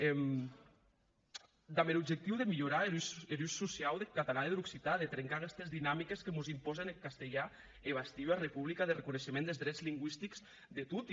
damb er objectiu de milhorar er usatge sociau deth catalan e der occitan de trincar aguestes dinamiques que mos impòsen eth castelhan e bastir ua republica de reconeishement des drets lingüistics de toti